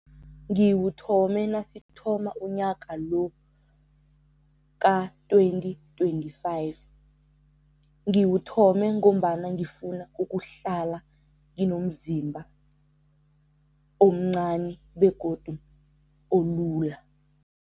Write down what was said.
Ngiwuthome nasithoma unyaka lo ka-twenty twenty-five. Ngiwuthome ngombana ngifuna ukuhlala nginomzimba omncani begodu olula.